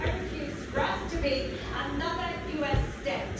I refuse for us to be another US state.